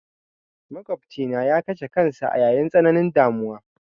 Maƙofcina ya kashe kansa a yayin tsananin damuwa.